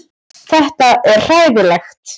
Þetta er hræðilegt